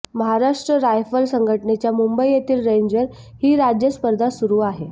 Maharashtra rifle संघटनेच्या मुंबई येथील रेंजवर ही राज्य स्पर्धा सुरू आहे